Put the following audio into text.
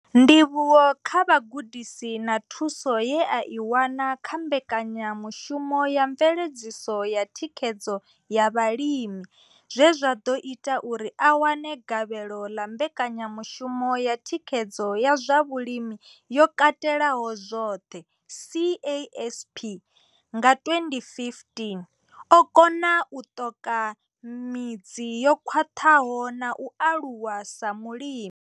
Ndivhuwo kha vhugudisi na thuso ye a i wana kha mbekanyamushumo ya mveledziso ya thikhedzo ya vhalimi zwe zwa ḓo ita uri a wane gavhelo ḽa mbekanyamushumo ya thikhedzo ya zwa vhulimi yo katelaho zwoṱhe CASP nga 2015, o kona u ṱoka midzi yo khwaṱhaho na u aluwa sa mulimi.